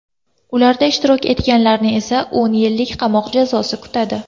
Ularda ishtirok etganlarni esa o‘n yillik qamoq jazosi kutadi.